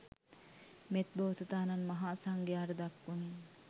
මෙත් බෝසතාණන් මහා සංඝයාට දක්වමින්